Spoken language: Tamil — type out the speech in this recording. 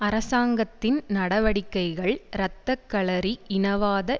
அரசாங்கத்தின் நடவடிக்கைகள் இரத்த களரி இனவாத